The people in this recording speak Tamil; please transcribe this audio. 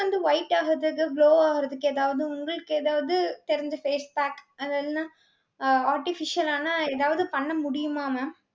skin வந்து white ஆகுறதது, glow ஆகுறதுக்கு ஏதாவது உங்களுக்கு ஏதாவது தெரிஞ்ச face pack அது எல்லாம் அஹ் artificial ஆன ஏதாவது பண்ண முடியுமா mam